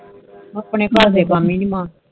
ਆਪਣੇ ਘਰ ਦੇ ਕਾਮ ਹੀ ਨੀ ਮੁਕਦੇ